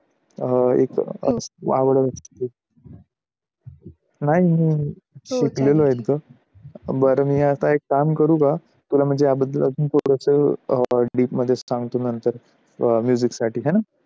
नाही शिकलेलं आहे ग बर मी आता एक काम करू का तुला म्हणजे याबद्दल अजून थोडासा अं deep मध्ये सांगतो नंतर अं music साठी आहे ना